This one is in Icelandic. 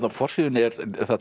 forsíðunni er